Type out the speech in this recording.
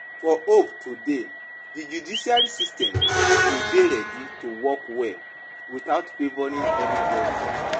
For hope to dey, di judicial system go dey ready to work well without favouring anybody